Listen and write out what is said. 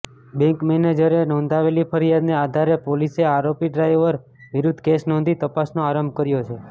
bank મેનેજરે નોંધાવેલી ફરિયાદને આધારે પોલીસે આરોપી ડ્રાઈવર વિરુદ્ધ કેસ નોંધી તપાસનો આરંભ કર્યો છે